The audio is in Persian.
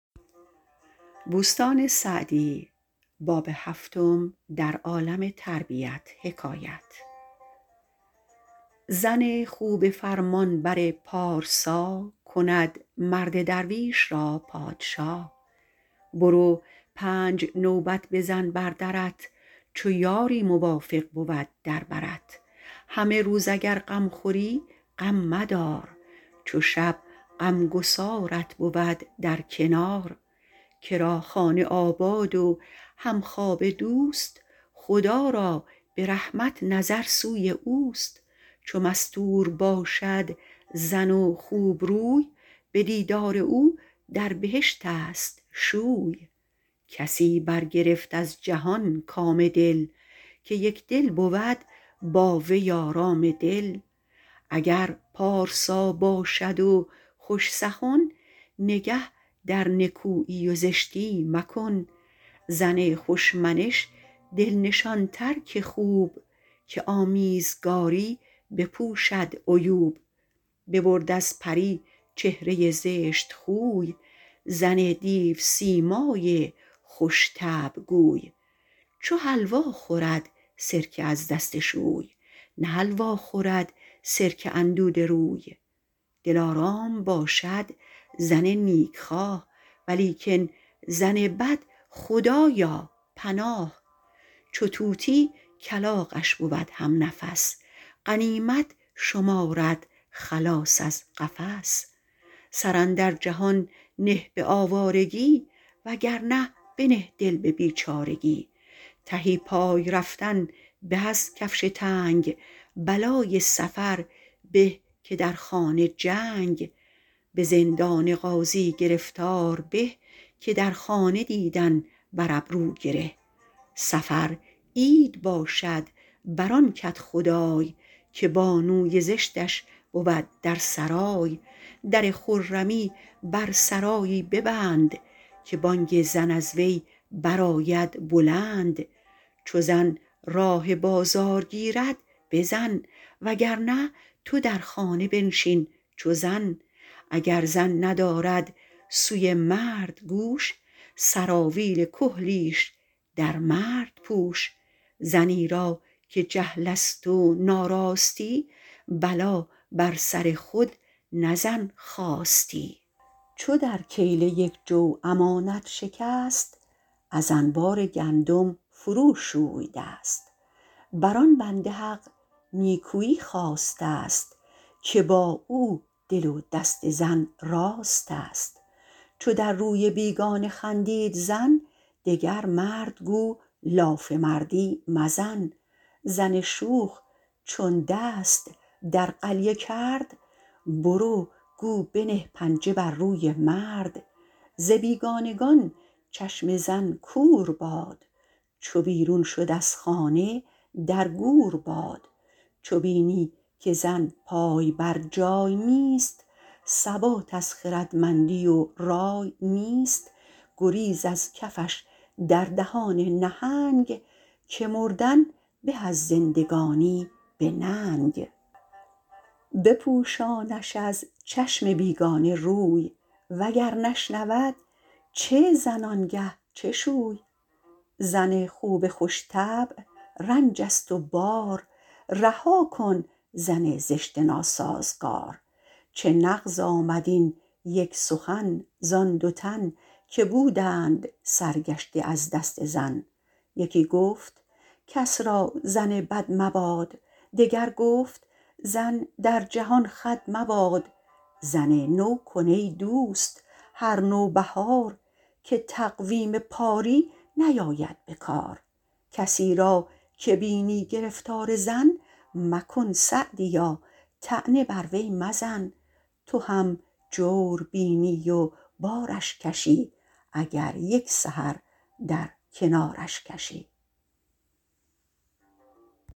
زن خوب فرمانبر پارسا کند مرد درویش را پادشا برو پنج نوبت بزن بر درت چو یاری موافق بود در برت همه روز اگر غم خوری غم مدار چو شب غمگسارت بود در کنار کرا خانه آباد و همخوابه دوست خدا را به رحمت نظر سوی اوست چو مستور باشد زن و خوبروی به دیدار او در بهشت است شوی کسی برگرفت از جهان کام دل که یکدل بود با وی آرام دل اگر پارسا باشد و خوش سخن نگه در نکویی و زشتی مکن زن خوش منش دل نشان تر که خوب که آمیزگاری بپوشد عیوب ببرد از پری چهره زشت خوی زن دیوسیمای خوش طبع گوی چو حلوا خورد سرکه از دست شوی نه حلوا خورد سرکه اندوده روی دلارام باشد زن نیک خواه ولیکن زن بد خدایا پناه چو طوطی کلاغش بود هم نفس غنیمت شمارد خلاص از قفس سر اندر جهان نه به آوارگی وگرنه بنه دل به بیچارگی تهی پای رفتن به از کفش تنگ بلای سفر به که در خانه جنگ به زندان قاضی گرفتار به که در خانه دیدن بر ابرو گره سفر عید باشد بر آن کدخدای که بانوی زشتش بود در سرای در خرمی بر سرایی ببند که بانگ زن از وی برآید بلند چو زن راه بازار گیرد بزن وگرنه تو در خانه بنشین چو زن اگر زن ندارد سوی مرد گوش سراویل کحلیش در مرد پوش زنی را که جهل است و ناراستی بلا بر سر خود نه زن خواستی چو در کیله یک جو امانت شکست از انبار گندم فرو شوی دست بر آن بنده حق نیکویی خواسته است که با او دل و دست زن راست است چو در روی بیگانه خندید زن دگر مرد گو لاف مردی مزن زن شوخ چون دست در قلیه کرد برو گو بنه پنجه بر روی مرد ز بیگانگان چشم زن کور باد چو بیرون شد از خانه در گور باد چو بینی که زن پای برجای نیست ثبات از خردمندی و رای نیست گریز از کفش در دهان نهنگ که مردن به از زندگانی به ننگ بپوشانش از چشم بیگانه روی وگر نشنود چه زن آنگه چه شوی زن خوب خوش طبع رنج است و بار رها کن زن زشت ناسازگار چه نغز آمد این یک سخن زآن دو تن که بودند سرگشته از دست زن یکی گفت کس را زن بد مباد دگر گفت زن در جهان خود مباد زن نو کن ای دوست هر نوبهار که تقویم پاری نیاید به کار کسی را که بینی گرفتار زن مکن سعدیا طعنه بر وی مزن تو هم جور بینی و بارش کشی اگر یک سحر در کنارش کشی